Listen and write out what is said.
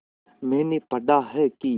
मैंने पढ़ा है कि